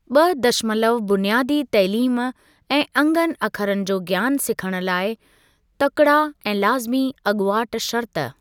ॿ दशमलव बुनियादी तइलीम ऐं अंगनि अखरनि जो ज्ञान सिखण लाइ तकिड़ा ऐं लाज़मी अॻुवाट शर्त।